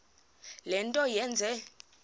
le nto yenze